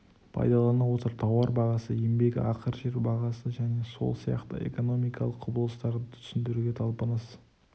пайдалана отырып тауар бағасы еңбек ақы жер бағасы және сол сияқты экономикалық құбылыстарды түсіндіруге талпыныс